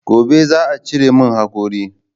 Gobe za'a cire min haƙori